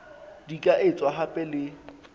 di ka etswa hape le